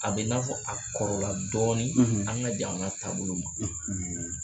A bɛ i n'a fɔ a kɔrɔla dɔɔnin an ka jamana taabolo ma